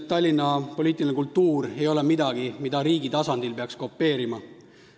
Tallinna poliitiline kultuur ei ole midagi, mida riigi tasandil peaks kopeerima.